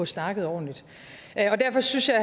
snakket ordentligt derfor synes jeg